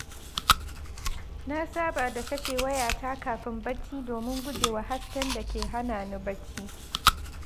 Na saba da kashe wayata kafin bacci domin guje wa hasken da ke hana ni bacci.